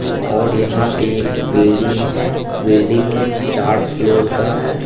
और यहाँ पे एक बिल्डिंग है बिल्डिंग चार फ्लोर का है।